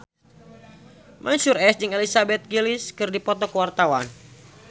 Mansyur S jeung Elizabeth Gillies keur dipoto ku wartawan